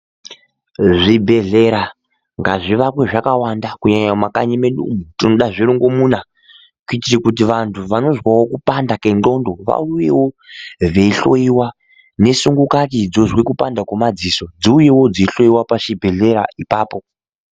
Zvibhedhlera ngazvivakwe zvakawanda kunyanya mumakanyi mwedu umu tinoda zvirungomuna kuitira kuti vantu vanozwawo kupanda kwenxondo vauyewo veihloiwa, nesungukati dzozwe kupanda kwemadziso dziuyewo dzeihloiwa pachibhedhlera ipapo.